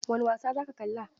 Wani wasa za ka kalla?